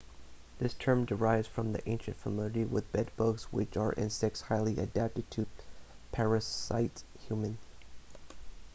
this term derives from ancient familiarity with bed-bugs which are insects highly adapted to parasitize humans